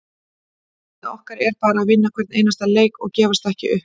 Markmið okkar er bara að vinna hvern einasta leik og gefast ekki upp.